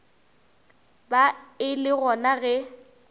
ba e le gona ge